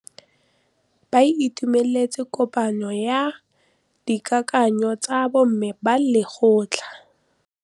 Ba itumeletse kôpanyo ya dikakanyô tsa bo mme ba lekgotla.